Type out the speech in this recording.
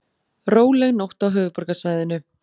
Róleg nótt á höfuðborgarsvæðinu